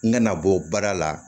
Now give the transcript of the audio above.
N kana bɔ baara la